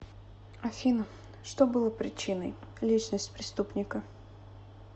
афина что было причиной личность преступника